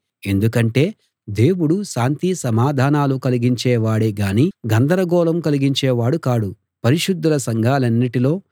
ఎందుకంటే దేవుడు శాంతి సమాధానాలు కలిగించే వాడే గాని గందరగోళం కలిగించేవాడు కాడు పరిశుద్ధుల సంఘాలన్నిటిలో